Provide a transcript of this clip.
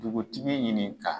Dugutigi ɲini ka